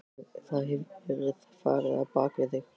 Það hefur verið farið á bak við þig.